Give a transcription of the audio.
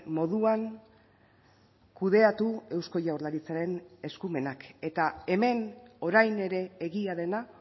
moduan kudeatu eusko jaurlaritzaren eskumenak eta hemen orain ere egia dena